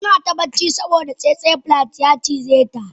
Tana ta bacci saboda tsetse fly ya cijeta.